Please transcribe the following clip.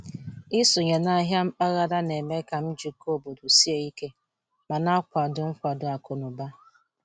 Ịsonye n'ahịa mpaghara na-eme ka njikọ obodo sie ike ma na-akwado nkwado akụ na ụba.